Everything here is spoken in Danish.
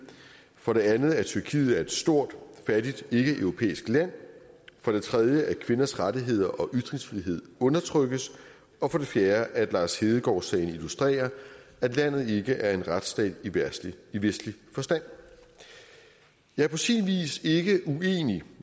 for det andet at tyrkiet er et stort fattigt ikkeeuropæisk land for det tredje at kvinders rettigheder og ytringsfrihed undertrykkes og for det fjerde at lars hedegaard sagen illustrerer at landet ikke er en retsstat i vestlig forstand jeg er på sin vis ikke uenig